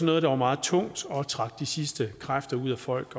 noget der var meget tungt og trække de sidste kræfter ud af folk